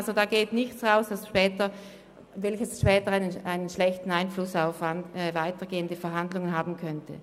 es geht also nichts an die Öffentlichkeit, was später einen schlechten Einfluss auf weitergehende Verhandlungen haben könnte.